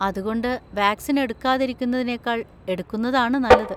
അതുകൊണ്ട് വാക്‌സിൻ എടുക്കാതിരിക്കുന്നതിനേക്കാൾ എടുക്കുന്നതാണ് നല്ലത്.